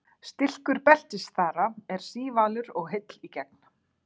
stilkur beltisþara er sívalur og heill í gegn